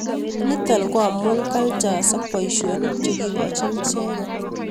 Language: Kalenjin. Nito ko amu cultures ak boisionik chekikochin icheket